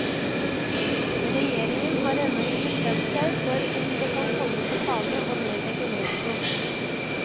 Regjeringen har ennå ikke bestemt seg for om det kan komme på tale å nedlegge veto.